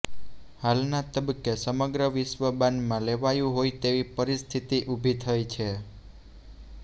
હાલના તબક્કે સમગ્ર વિશ્વ બાનમાં લેવાયું હોય તેવી પરિસ્થિતિ ઉભી થઇ છે